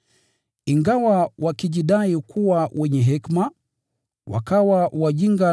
Ingawa walijidai kuwa wenye hekima, wakawa wajinga